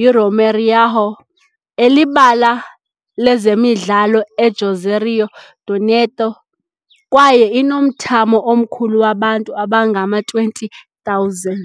yiRomeirão, elibala lezemidlalo eJuazeiro do Norte, kwaye inomthamo omkhulu wabantu abangama-20,000.